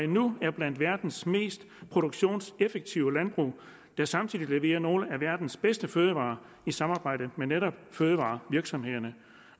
nu er blandt verdens mest produktionseffektive landbrug der samtidig leverer nogle af verdens bedste fødevarer i samarbejde med netop fødevarevirksomhederne